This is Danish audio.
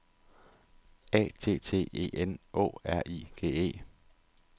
A T T E N Å R I G E